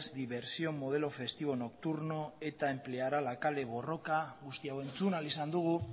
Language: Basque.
diversión modelo festivo nocturno eta empleará la kale borroka guzti hau entzun ahal izan dugu